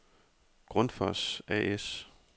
Grundfos A/S